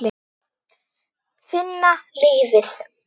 Finna lífið.